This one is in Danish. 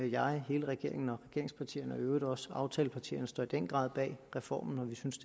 jeg hele regeringen regeringspartierne og i øvrigt også aftalepartierne står i den grad bag reformen og vi synes